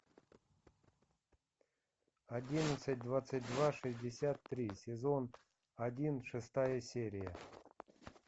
одиннадцать двадцать два шестьдесят три сезон один шестая серия